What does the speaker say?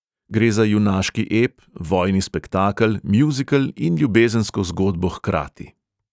Gre za junaški ep, vojni spektakel, mjuzikl in ljubezensko zgodbo hkrati.